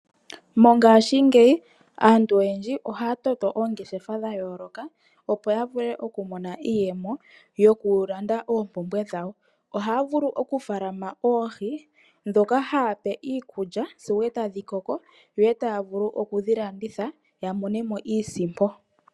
Mongashingeyi aantu oyendji ohaya toto oongeshefa dha yooloka, opo ya vule okumona iiyemo yokulanda oompumbwe dhawo. Ohaya vulu okufaalama oohi ndhoka haya pe iikulya sigo e tadhi koko yo e taya vulu oku dhi landitha ya mone mo iisimpo.